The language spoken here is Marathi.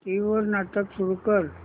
टीव्ही वर नाटक सुरू कर